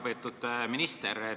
Väga lugupeetud minister!